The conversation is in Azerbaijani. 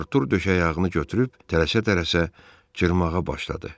Artur döşəyağını götürüb tələsə-tələsə cırmağa başladı.